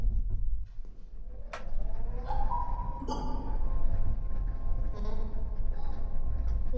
Glottandi veggur kominn hringinn í kringum áflogahundana.